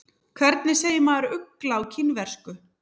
Hvernig segir maður ugla á kínversku?